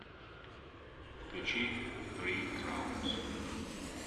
включи фри краунс